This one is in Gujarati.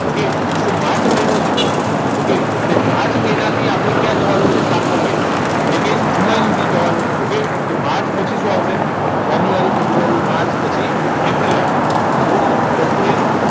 okay તો માર્ચ મહિનો છે okay તો માર્ચ મહિનાથી આપણને ક્યાં જવાનું છે સાતમો મહિનો એટલે કે જુલાઈ સુધી જવાનું છે okay તો પાંચ પછી શું આવશે જાન્યુઆરી ફેબ્રુઆરી માર્ચ પછી એપ્રિલ આવે તો એપ્રિલ